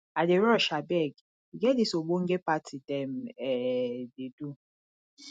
i dey rush abeg e get dis ogbonge party dem um dey do